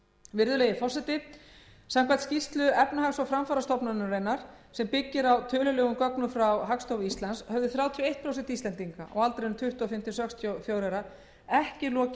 virðulegi forseti samkvæmt skýrslu efnahags og framfarastofnunarinnar sem byggir á tölulegum gögnum frá hagstofu íslands höfðu þrjátíu og eitt prósent íslendinga á aldrinum tuttugu og fimm til sextíu og fjögurra ára ekki lokið